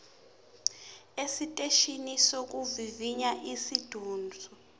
esiteshini sokuvivinya esiseduze